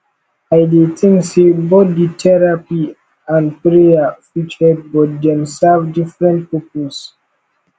i dey think say both di therapy and prayer fit help but dem serve different purposes